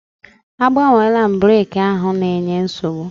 Agbanweela m breki ahụ na-enye nsogbu.